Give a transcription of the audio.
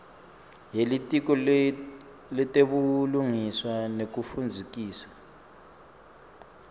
yelitiko letebulungiswa nekutfutfukiswa